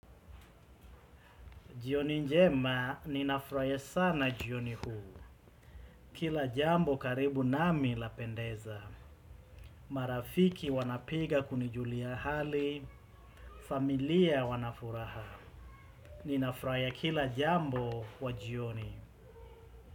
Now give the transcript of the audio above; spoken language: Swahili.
Jioni njema, ninafrahia sana jioni huu. Kila jambo karibu nami lapendeza. Marafiki wanapiga kunijulia hali, familia wanafuraha. Ninafrahia kila jambo wa jioni.